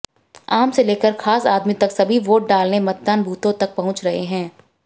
आम से लेकर खास आदमी तक सभी वोट डालने मतदान बूथों तक पहुंच रहे हैं